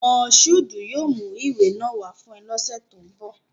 Mashood yoo mu iwe naa wa fun ọ ni ọsẹ to nbọ